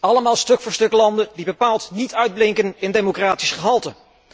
Allemaal stuk voor stuk landen die bepaald niet uitblinken in democratisch gehalte.